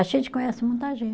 A gente conhece muita